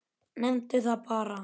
Nefndu það bara!